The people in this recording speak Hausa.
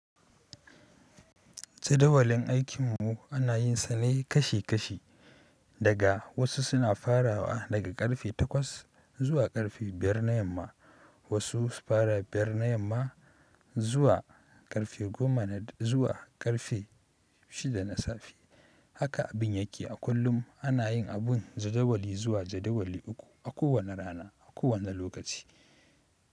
Jadawalin aikin mu ana yin sane kashi kashi daga wasu suna farawa daga karfe takwas zuwa karfe biyar na yamma, wasu su fara biyar na yamma zu zuwa karfe goma zuwa karfe shida na safe. Haka abin yake a kullum ana yin abun jadawali zuwa jadawali uku a kowane rana, a kowane lokaci.